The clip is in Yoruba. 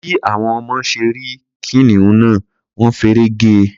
Bí àwọn ọmọ ṣe rí kìnìún náà, wọ́n feré ge.